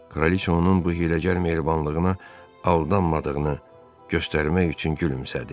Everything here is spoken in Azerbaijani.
Kraliça onun bu hiyləgər məhribanlığına aldanmadığını göstərmək üçün gülümsədi.